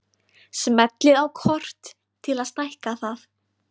Smellið á kort til að stækka það.